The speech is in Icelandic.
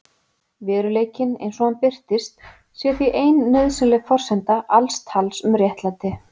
Veruleikinn, eins og hann birtist, sé því ein nauðsynleg forsenda alls tals um réttlæti.